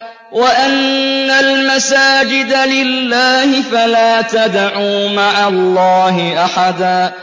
وَأَنَّ الْمَسَاجِدَ لِلَّهِ فَلَا تَدْعُوا مَعَ اللَّهِ أَحَدًا